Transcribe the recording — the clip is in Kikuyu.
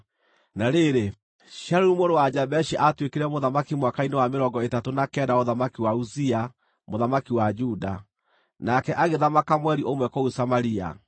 Na rĩrĩ, Shalumu mũrũ wa Jabeshi aatuĩkire mũthamaki mwaka-inĩ wa mĩrongo ĩtatũ na kenda wa ũthamaki wa Uzia mũthamaki wa Juda, nake agĩthamaka mweri ũmwe kũu Samaria.